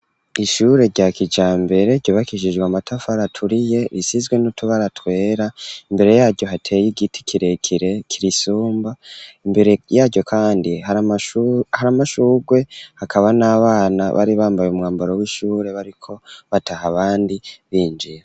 Ishure rya kijambere ryobakishijwe amatafara aturiye risizwe n'o tubara twera .Imbere yaryo hateye y'igiti kirekire kirisumba imbere yaryo kandi hari amashugwe hakaba n'abana bari bambaye umwambaro w'ishure bariko bataha abandi binjire.